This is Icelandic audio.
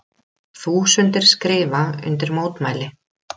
Þúsundir skrifa undir mótmæli